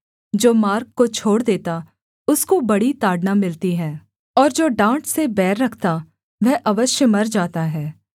जो मार्ग को छोड़ देता उसको बड़ी ताड़ना मिलती है और जो डाँट से बैर रखता वह अवश्य मर जाता है